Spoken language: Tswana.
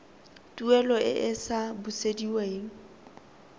tuelo e e sa busediweng